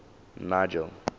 nigel